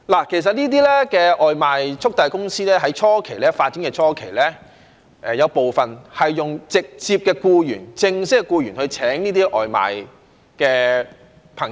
其實這些外賣速遞公司在發展初期，有部分是用直接的僱員或正式的僱員的方式聘請這些送外賣的朋友。